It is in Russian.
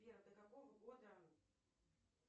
сбер до какого года